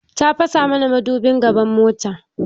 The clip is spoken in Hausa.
Ya fasa muna madobin gaban mota